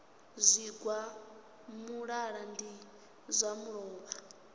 zwigwa muṱaḓa ndi zwa luvhola